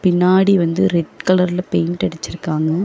பின்னாடி வந்து ரெட் கலர்ல பெயிண்ட் அடிச்சிருக்காங்க.